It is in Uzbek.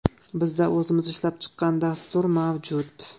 Bizda o‘zimiz ishlab chiqqan dastur mavjud.